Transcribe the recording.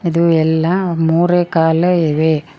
ಇದು ಎಲ್ಲಾ ಮೂರೇ ಕಾಲು ಇವೆ.